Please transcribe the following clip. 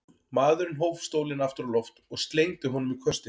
Maðurinn hóf stólinn aftur á loft og slengdi honum í köstinn.